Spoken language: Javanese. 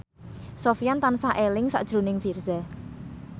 Sofyan tansah eling sakjroning Virzha